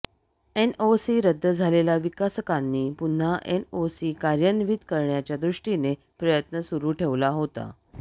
NOC रद्द झालेल्या विकासकांनी पुन्हा एनओसी कार्यान्वित करण्याच्या दृष्टीने प्रयत्न सुरू ठेवला होता